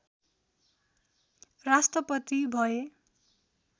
राष्ट्रपति भए